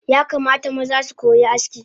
Yakamata maza sukoyi aski